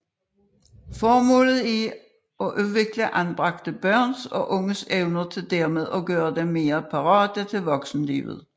Formålet er at udvikle anbragte børns og unges evner for dermed at gøre dem mere parate til voksenlivet